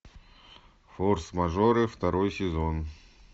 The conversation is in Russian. форс мажоры второй сезон